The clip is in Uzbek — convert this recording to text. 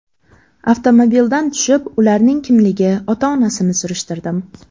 Avtomobildan tushib, ularning kimligi, ota-onasini surishtirdim.